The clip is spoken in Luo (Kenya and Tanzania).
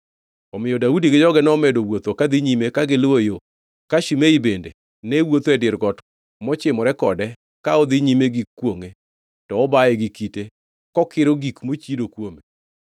Omiyo Daudi gi joge nomedo wuotho kadhi nyime ka giluwo yo, ka Shimei bende ne wuotho e dir got mochimore kode ka odhi nyime gi kwongʼe to obaye gi kite kokiro gik mochido kuome.